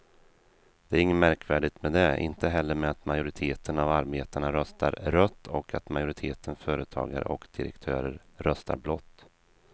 Det är inget märkvärdigt med det, inte heller med att majoriteten av arbetarna röstar rött och att majoriteten företagare och direktörer röstar blått.